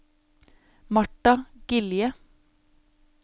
Martha Gilje